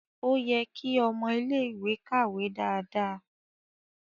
O yẹ ki ọmọ ilẹ ìwé kàwé dáadáa.